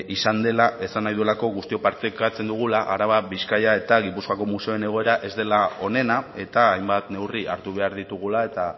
izan dela esan nahi duelako guztiok partekatzen dugula araba bizkaia eta gipuzkoako museoen egoera ez dela onena eta hainbat neurri hartu behar ditugula eta